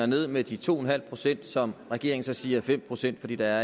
ned med de to en halv pct som regeringen så siger er fem pct fordi der